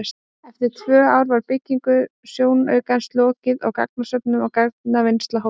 Eftir tvö ár var byggingu sjónaukans lokið og gagnasöfnun og gagnavinnsla hófst.